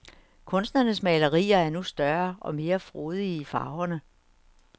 Kunstnerens malerier er nu større og mere frodige i farverne.